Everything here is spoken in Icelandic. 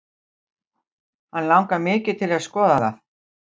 Hann langar mikið til að skoða það.